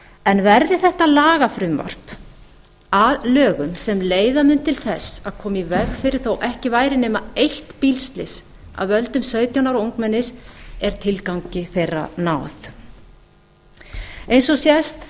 en verði þetta lagafrumvarp að lögum sem leiða mun til þess að koma í veg fyrir þó ekki væri nema eitt bílslys af völdum sautján ára ungmennis er tilgangi þeirra náð eins og sést